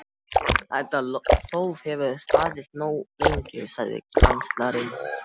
Þetta þóf hefur staðið nógu lengi, sagði kanslarinn.